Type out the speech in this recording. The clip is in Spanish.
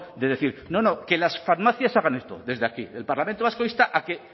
de decir no no que las farmacias hagan esto desde aquí el parlamento vasco insta a que